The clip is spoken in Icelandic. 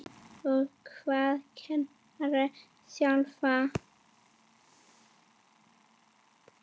Og hvað kennara sjálfa?